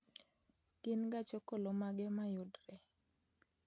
Gin gach okolomage ma yudore